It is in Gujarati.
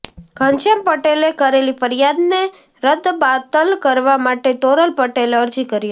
ઘનશ્યામ પટેલે કરેલી ફરિયાદને રદબાતલ કરવા માટે તોરલ પટેલે અરજી કરી હતી